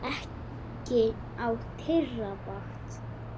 Ekki á þeirra vakt.